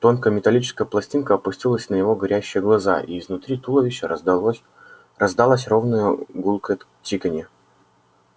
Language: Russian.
тонкая металлическая пластинка опустилась на его горящие глаза и изнутри туловища раздалось раздалось ровное гулкое тиканье